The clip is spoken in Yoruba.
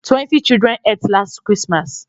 Twenty children ate last Christmas